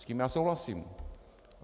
S tím já souhlasím.